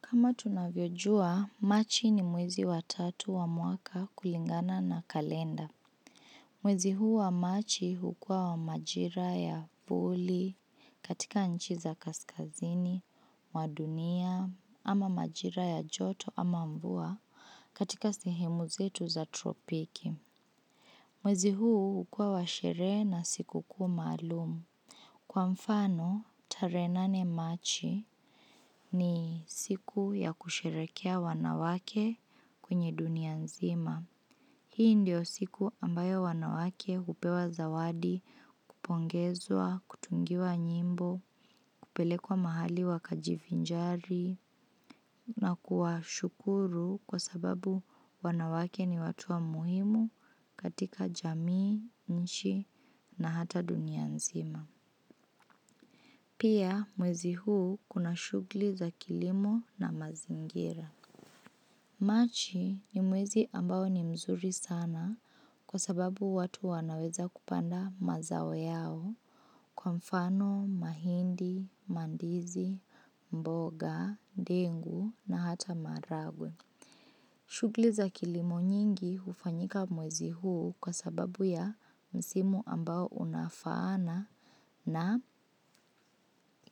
Kama tunavyojua, machi ni mwezi watatu wa mwaka kulingana na kalenda. Mwezi huu wa machi hukua wa majira ya puli, katika nchiza kaskazini, mwadunia, ama majira ya joto ama mvua katika sehemu zetu za tropiki. Mwezi huu hukua wa sherehe na siku kuu maalumu. Kwa mfano, tarehenane machi ni siku ya kusherehekea wanawake kwenye dunia nzima. Hii ndio siku ambayo wanawake hupewa zawadi, kupongezwa, kutungiwa nyimbo, kupele kwa mahali wakajivinjari na kuwa shukuru kwa sababu wanawake ni watuwa muhimu katika jamii, nchi na hata dunia nzima. Pia mwezi huu kuna shughuli za kilimo na mazingira. Machi ni mwezi ambao ni mzuri sana kwa sababu watu wanaweza kupanda mazawo yao kwa mfano, mahindi, mandizi, mboga, dengu na hata maharagwe. Shughuli za kilimo nyingi hufanyika mwezi huu kwa sababu ya msimu ambao unafaana na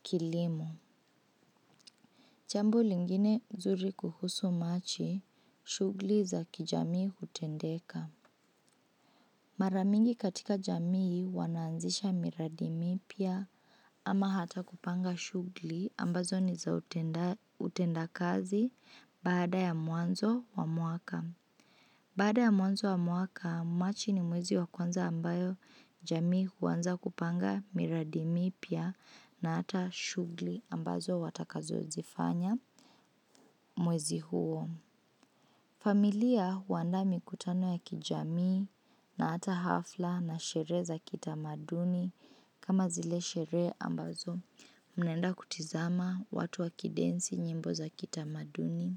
kilimo. Jambo lingine nzuri kuhusu machi, shughuli za kijamii hutendeka. Maramingi katika jamii wanaanzisha miradimi pya ama hata kupanga shughuli ambazo ni za utenda kazi baada ya mwanzo wa mwaka. Baada ya mwanzo wa mwaka, machi ni mwezi wa kwanza ambayo jamii huanza kupanga miradimi pya na hata shughuli ambazo watakazo zifanya mwezi huo. Familia huanda mikutano ya kijamii na hata hafla na sherehe za kita maduni kama zile sherehe ambazo. Mnaenda kutizama watu wakidensi nyimbo za kita maduni,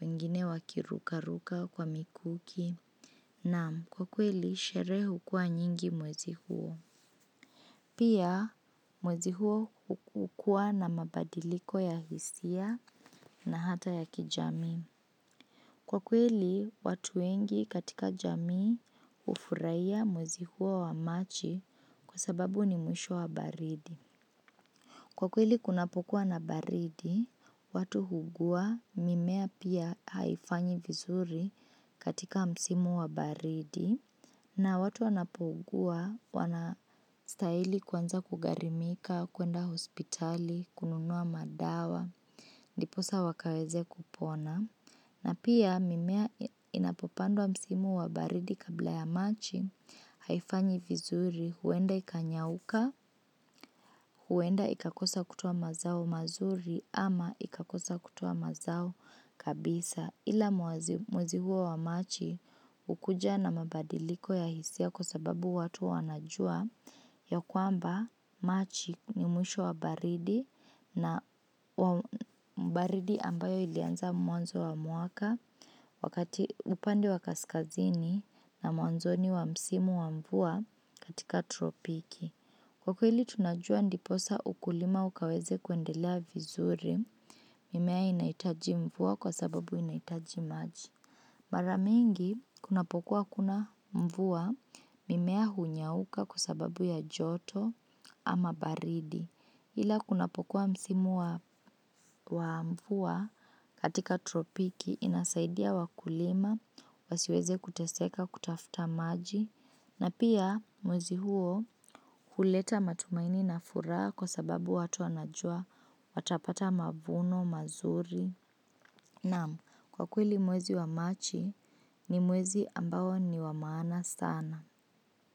wengine wakiruka ruka kwa mikuki, naam kwa kweli sherehe hukua nyingi mwezi huo. Pia mwezi huo hukua na mabadiliko ya hisia na hata ya kijamii. Kwa kweli watuwengi katika jamii hufurahia mwezi huo wa machi kwa sababu ni mwisho wa baridi. Kwa kweli kunapokuwa na baridi, watu huugua mimea pia haifanyi vizuri katika msimu wa baridi na watu anapougua wanastahili kuanza kugharimika, kwenda hospitali, kununua madawa, diposa wakaweze kupona. Na pia mimea inapopandwa msimu wa baridi kabla ya machi haifanyi vizuri huenda ikanyauka, huenda ikakosa kutoa mazao mazuri ama ikakosa kutoa mazao kabisa. Ila mwezihuo wa machi hukuja na mabadiliko ya hisia kwa sababu watu wanajua ya kwamba machi ni mwisho wa baridi na baridi ambayo ilianza mwanzo wa mwaka wakati upande wa kaskazini na mwanzo ni wa msimu wa mvua katika tropiki. Kwa kweli tunajua ndiposa ukulima ukaweze kwendelea vizuri mimea inahitaji mvua kwa sababu inahitaji maji. Maramingi, kunapokuwa hakuna mvua mimea hunyauka kwasababu ya joto ama baridi. Ila kunapokuwa msimu wa mvua katika tropiki inasaidia wakulima, wasiweze kuteseka kutafuta maji, na pia mwezi huo huleta matumaini na furaha kwasababu watu wanajua watapata mavuno mazuri. Naam, kwa kweli mwezi wa machi ni mwezi ambao ni wamaana sana.